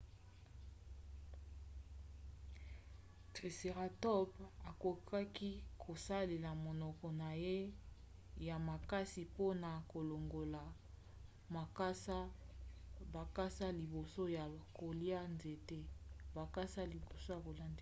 triceratops akokaki kosalela monoko na ye ya makasi mpona kolongola bakasa liboso ya kolia nzete